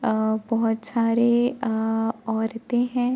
आ बोहोत छारे अ औरतें हैं।